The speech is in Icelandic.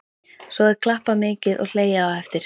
Svo er klappað mikið og hlegið á eftir.